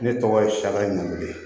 Ne tɔgɔ ye sia ɲamulen